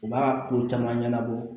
U b'a ko caman ɲɛnabɔ